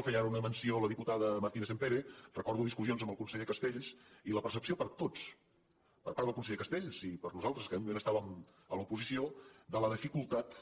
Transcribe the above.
en feia ara una menció la diputada mar·tínez·sampere recordo discussions amb el conse·ller castells i la percepció per tots per part del con·seller castells i per nosaltres que en aquell moment estàvem a l’oposició de la dificultat